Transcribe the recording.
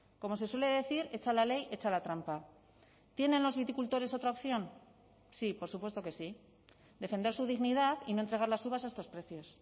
como se suele decir hecha la ley hecha la trampa tienen los viticultores otra opción sí por supuesto que sí defender su dignidad y no entregar las uvas a estos precios